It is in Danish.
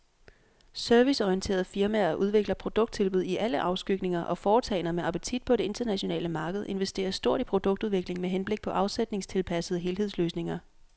Serviceorienterede firmaer udvikler produkttilbud i alle afskygninger, og foretagender med appetit på det internationale marked investerer stort i produktudvikling med henblik på afsætningstilpassede helhedsløsninger.